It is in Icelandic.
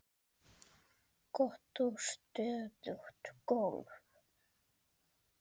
Gott og stöðugt golf!